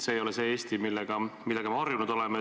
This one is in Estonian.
See ei ole see Eesti, millega me harjunud oleme.